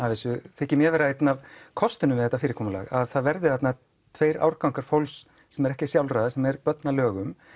þykir mér vera einn af kostunum við þetta fyrirkomulag að það verði þarna tveir árgangar fólks sem er ekki sjálfráða sem er börn að lögum